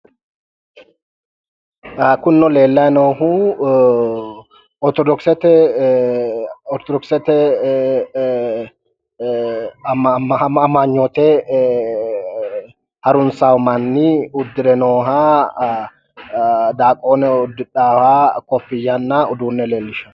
kunino leellanni noohu ortodokisete ee amanyoote ee harunsanno manni uddire nooha daaqoone uddidhaaha kofiyanna uduunne leellishano.